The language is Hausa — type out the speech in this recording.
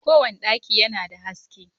kowane daki yana da haske.